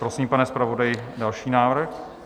Prosím, pane zpravodaji, další návrh.